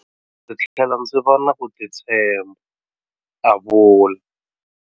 Ndzi tlhele ndzi va na ku titshemba, a vula.